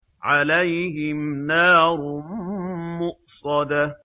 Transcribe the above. عَلَيْهِمْ نَارٌ مُّؤْصَدَةٌ